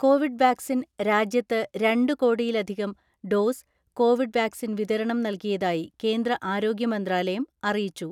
Covid vaccine രാജ്യത്ത് രണ്ടു കോടിയിലധികം ഡോസ് കോവിഡ് വാക്സിൻ വിതരണം നല്കിയതായി കേന്ദ്ര ആരോഗ്യമന്ത്രാലയം അറിയിച്ചു.